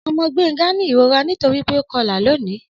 Ọmọ Gbenga ni irora nitori pe o kọla loni.